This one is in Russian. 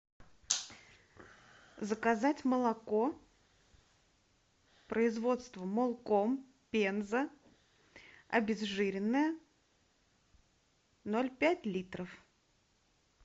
заказать молоко производство молком пенза обезжиренное ноль пять литров